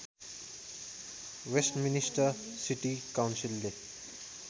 Westminster city काउन्सिलले